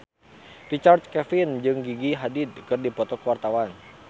Richard Kevin jeung Gigi Hadid keur dipoto ku wartawan